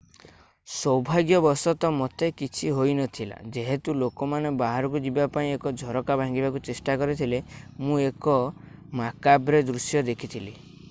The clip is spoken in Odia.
ସୌଭାଗ୍ୟବଶତଃ ମୋତେ କିଛି ହୋଇ ନଥିଲା ଯେହେତୁ ଲୋକମାନେ ବାହାରକୁ ଯିବା ପାଇଁ ଝରକା ଭାଙ୍ଗିବାକୁ ଚେଷ୍ଟା କରିଥିଲେ ମୁଁ ଏକ ମାକାବ୍ରେ ଦୃଶ୍ୟ ଦେଖିଥିଲି